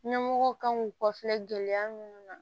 Ɲɛmɔgɔw kan k'u kɔfilɛ gɛlɛya minnu na